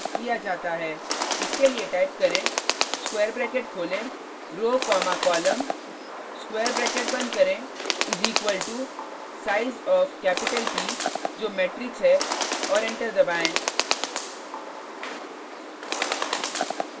इसके लिए टाइप करें स्क्वायर ब्रैकेट खोलें row comma column square bracket बंद करें is equal to size of capital p जो मेट्रिक्स है और एंटर दबाएँ